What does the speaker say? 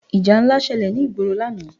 Ìjà ńlá ṣẹlẹ̀ ní ìgboro lánàá.